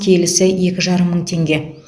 келісі екі жарым мың теңге